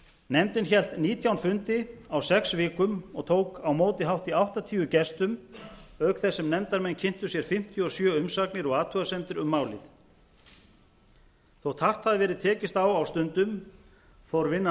nefndin hélt nítján fundi á sex vikum og tók á móti hátt í áttatíu gestum auk þess sem nefndarmenn kynntu sér fimmtíu og sjö umsagnir og athugasemdir um málið þótt hart hafi verið tekist á á stundum fór vinnan